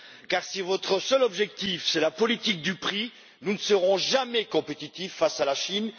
Car, si votre seul objectif, c'est la politique du prix, nous ne serons jamais compétitifs face à la Chine.